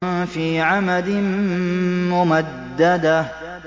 فِي عَمَدٍ مُّمَدَّدَةٍ